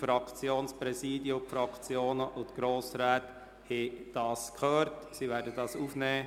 Fraktionspräsidien, Fraktionen und Grossräte haben diese Erklärung gehört und werden sie aufnehmen.